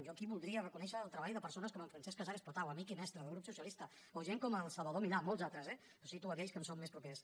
jo aquí voldria reconèixer el treball de persones com en francesc casares potau amic i mestre del grup socialista o de gent com el salvador milà i molts altres eh que cito aquells que em són més propers